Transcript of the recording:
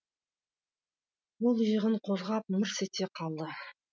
ол иығын қозғап мырс ете қалды